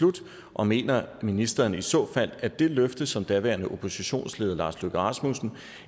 og mener ministeren i så fald at det løfte som daværende oppositionsleder lars løkke rasmussen